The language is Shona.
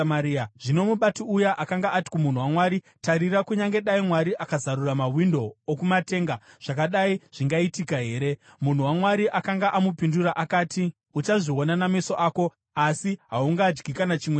Zvino mubati uya akanga ati kumunhu waMwari, “Tarira, kunyange dai Mwari akazarura mawindo okumatenga, zvakadai zvingaitika here?” Munhu waMwari akanga amupindura akati, “Uchazviona nameso ako, asi haungadyi kana chimwe chazvo!”